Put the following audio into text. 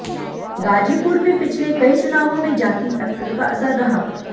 गाजीपुर में पिछले कई चुनावों में जाति फैक्टर का असर रहा